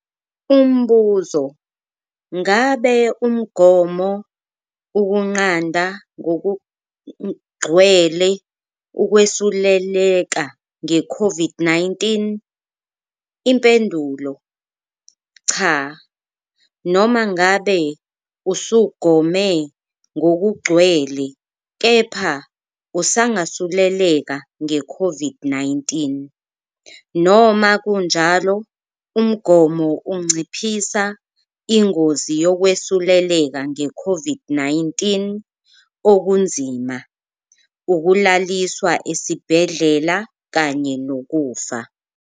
Umbuzo- Ngabe umgomo ukunqanda ngokugcwele ukwesuleleka ngeCOVID-19? Impendulo- Cha. Noma ngabe usugome ngokugcwele kepha usangasuleleka ngeCOVID-19. Noma kunjalo, umgomo unciphisa ingozi yokwesuleleka ngeCOVID-19 okunzima, ukulaliswa esibhedlela kanye nokufa.